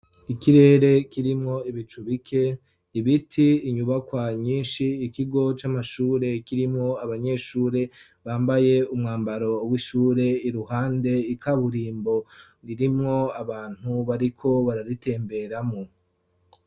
ikirere kirimwo ibicu bike ibiti inyubakwa nyinshi ikigo c'amashure kirimwo abanyeshure bambaye umwambaro w'ishure iruhande ikaburimbo ririmwo abantu bariko bararitemberamo